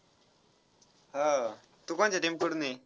हा. तू कोणच्या team कडून आहे?